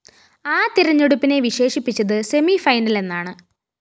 ആ തെരഞ്ഞെടുപ്പിനെ വിശേഷിപ്പിച്ചത് സെമിഫൈനലെന്നാണ്